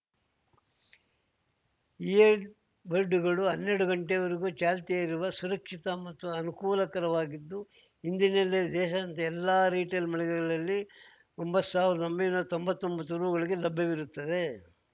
year ಬಡ್‌ಗಳು ಹನ್ನೆರಡು ಗಂಟೆಯವರೆಗೂ ಚಾಲ್ತಿಯಲ್ಲಿರುವ ಸುರಕ್ಷಿತ ಮತ್ತು ಅನುಕೂಲಕರವಾಗಿದ್ದು ಇಂದಿನಿಂದಲೇ ದೇಶದಾದ್ಯಂತ ಎಲ್ಲಾ ರಿಟೇಲ್ ಮಳಿಗೆಗಳಲ್ಲಿ ಒಂಬತ್ ಸಾವ್ರ್ದಾ ಒಂಬೈನೂರಾ ತೊಂಬತ್ತೊಂತ್ತು ರೂ ಗಳಿಗೆ ಲಭ್ಯವಿರುತ್ತದೆ